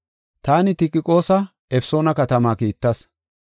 Taani Tikiqoosa Efesoona katama kiittas.